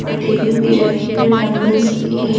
और टेबुल भी रही हुई डम्बस भी है।